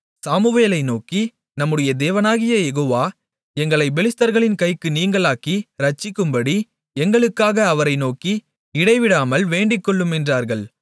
சாமுவேலை நோக்கி நம்முடைய தேவனாகிய யெகோவா எங்களைப் பெலிஸ்தர்களின் கைக்கு நீங்கலாக்கி இரட்சிக்கும்படி எங்களுக்காக அவரை நோக்கி இடைவிடாமல் வேண்டிக்கொள்ளும் என்றார்கள்